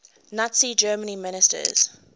nazi germany ministers